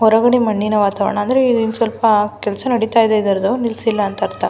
ಹೊರಗಡೆ ಮಣ್ಣಿನ ವಾತಾವರಣ ಅಂದ್ರೆ ಸ್ವಲ್ಪ ಕೆಲಸ ನಡೀತಾ ಇದೆ ಇದರದ್ದು ನಿಲ್ಸಿಲ್ಲ ಅಂತ ಅರ್ಥ.